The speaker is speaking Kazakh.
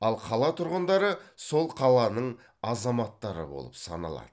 ал қала тұрғындары сол қаланың азаматтары болып саналады